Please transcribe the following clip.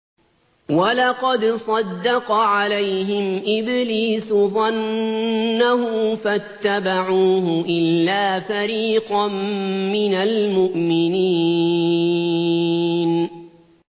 وَلَقَدْ صَدَّقَ عَلَيْهِمْ إِبْلِيسُ ظَنَّهُ فَاتَّبَعُوهُ إِلَّا فَرِيقًا مِّنَ الْمُؤْمِنِينَ